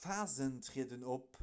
phasen trieden op